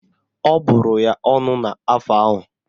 Ọ bụrụ ya ọnụ n'afọ ahụ